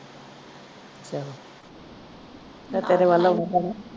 ਮੈਂ ਤੇਰੇ ਵੱਲ ਹੋ ਕੇ ਜਾਊਂ।